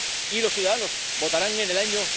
Y los ciudadanos votarán en el año